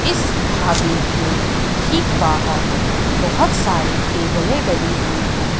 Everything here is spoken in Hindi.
इस ढाबे के ठीक बाहर बहोत सारी टेबले डली हुई है।